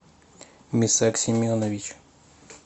мисак семенович